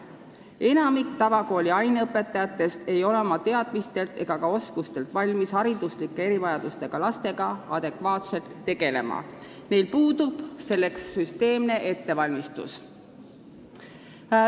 Enamik tavakooli aineõpetajatest ei ole oma teadmistelt ega ka oskustelt valmis hariduslike erivajadustega lastega adekvaatselt tegelema, neil puudub selleks süsteemne ettevalmistus.